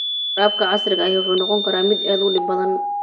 Waraabka casriga ahi wuxuu noqon karaa mid aad u dhib badan.